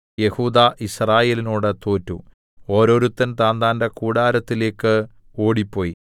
യെഹൂദാ യിസ്രായേലിനോട് തോറ്റു ഓരോരുത്തൻ താന്താന്റെ കൂടാരത്തിലേക്ക് ഓടിപ്പോയി